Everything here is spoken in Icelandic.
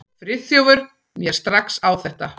Friðþjófur mér strax á þetta.